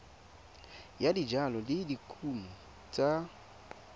ya dijalo le dikumo tsa